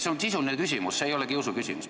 See on sisuline küsimus, see ei ole kiusuküsimus.